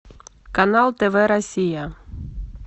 канал тв россия